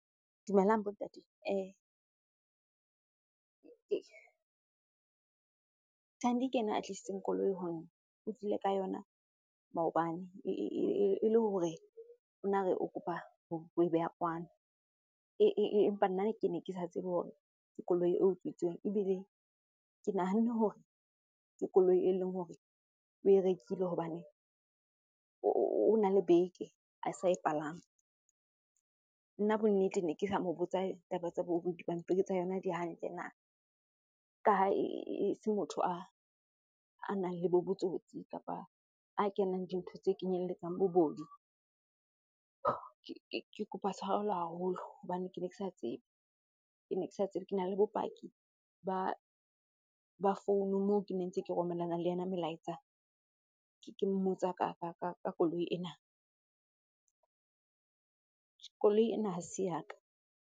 Dumelang bo ntate. Thandi ke yena a tlisitseng koloi ho nna. O tlile ka yona maobane ele hore o na re o kopa ho e beha kwano. Empa nna ke ne ke sa tsebe hore ke koloi eo utswitsweng ebile ke nahanne hore ke koloi eleng hore o e rekile hobane o na le beke a sa e palama. Nna bonnete ne ke sa mo botsa taba tsa bo dipampiri tsa yona di hantle na, ka ha e se motho a nang le bo botsotsi kapa a kenang dintho tse kenyelletsang bobodu. Ke kopa tshwarelo haholo hobane kene ke sa tsebe, ke ne ke sa tsebe. Kena le bopaki ba founu moo ke ne ntse ke romelana le yena melaetsa ke mmotsa ka koloi ena. Koloi ena hase ya ka.